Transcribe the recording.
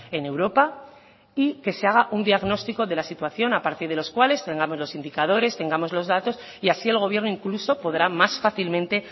en europa y que se haga un diagnostico de la situación a partir de los cuales tengamos los indicadores tengamos los datos y así el gobierno incluso podrá más fácilmente